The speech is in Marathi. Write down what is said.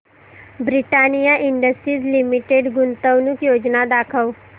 ब्रिटानिया इंडस्ट्रीज लिमिटेड गुंतवणूक योजना दाखव